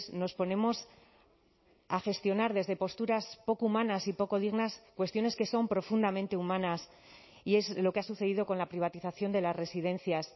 nos ponemos a gestionar desde posturas poco humanas y poco dignas cuestiones que son profundamente humanas y es lo que ha sucedido con la privatización de las residencias